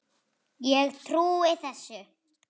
Ég trúi þessu.